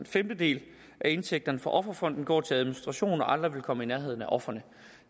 femtedel af indtægterne fra offerfonden går til administration og aldrig vil komme i nærheden af ofrene